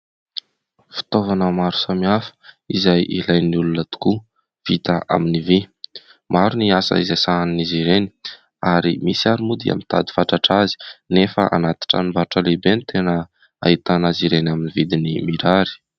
Fitaovana maro samihafa izay ilain'ny olona tokoa vita amin'ny vy, maro ny asa izay sahanin'izy ireny ary misy ary moa dia mitady fatratra azy nefa anaty tranom-barotra lehibe no tena ahitana azy ireny amin'ny vidiny mirary.